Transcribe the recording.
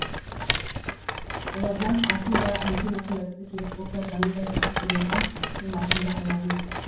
олардан асын да машинасын да тіпті керек болса жанындай жақсы көретін қимасын да аяған жоқ